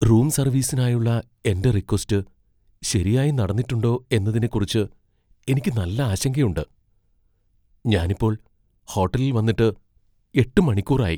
Room സർവീസിനായുള്ള എന്റെ request ശരിയായി നടന്നിട്ടുണ്ടോ എന്നതിനെക്കുറിച്ച് എനിക്ക് നല്ല ആശങ്കയുണ്ട് . ഞാനിപ്പോൾ ഹോട്ടലിൽ വന്നിട്ട് എട്ട് മണിക്കൂർ ആയി.